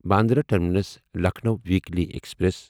Bandra terminus Lucknow weekly express